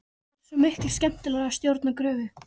Það er svo miklu skemmtilegra að stjórna gröfu.